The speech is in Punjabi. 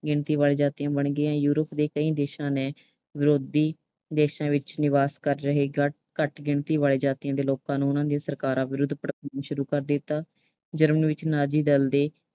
ਗਿਣਤੀ ਵਾਲੀਆਂ ਜਾਤੀਆਂ ਬਣ ਗਈਆਂ। Europe ਦੇ ਕਈ ਦੇਸ਼ਾਂ ਨੇ ਵਿਰੋਧੀ ਦੇਸ਼ਾਂ ਵਿੱਚ ਨਿਵਾਸ ਕਰ ਰਹੇ ਘੱਟ ਗਿਣਤੀ ਵਾਲੀਆਂ ਜਾਤੀਆਂ ਦੇ ਲੋਕਾ ਨੂੰ ਉਨ੍ਹਾਂ ਦੀਆਂ ਸਰਕਾਰਾਂ ਵਿਰੁੱਧ ਭੜਕਾਉਣਾ ਸ਼ੁਰੂ ਕਰ ਦਿੱਤਾ। Germany ਵਿੱਚ ਨਾਜ਼ੀ ਦਲ ਦੇ